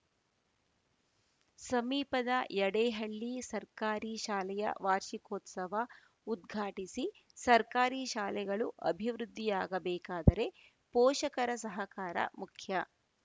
ಸಮೀಪದ ಯಡೇಹಳ್ಳಿ ಸರ್ಕಾರಿ ಶಾಲೆಯ ವಾರ್ಷಿಕೋತ್ಸವ ಉದ್ಘಾಟಿಸಿ ಸರ್ಕಾರಿ ಶಾಲೆಗಳು ಅಭಿವೃದ್ಧಿಯಾಗಬೇಕಾದರೆ ಪೋಷಕರ ಸಹಕಾರ ಮುಖ್ಯ